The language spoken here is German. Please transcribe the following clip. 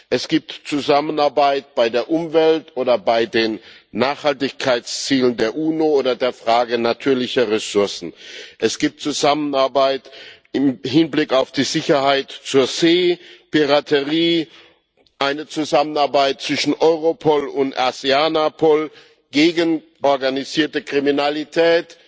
Es gibt Zusammenarbeit bei der Umwelt oder bei den Nachhaltigkeitszielen der UNO oder der Frage natürlicher Ressourcen. Es gibt Zusammenarbeit im Hinblick auf die Sicherheit auf See, Piraterie, eine Zusammenarbeit zwischen Europol und Aseanapol gegen organisierte Kriminalität,